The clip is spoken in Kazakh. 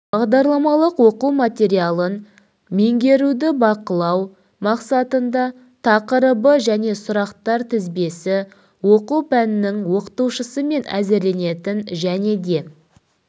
бағдарламалық оқу материалын меңгеруді бақылау мақсатында тақырыбы және сұрақтар тізбесі оқу пәнінің оқытушысымен әзірленетін және де